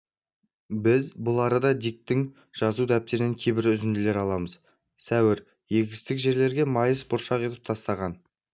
біз бұл арада диктің жазу дәптерінен кейбір үзінділер аламыз сәуір егістік жерлерге майыс бұршақ етіп тастаған